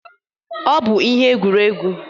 Ọ bụ ihe egwuregwu.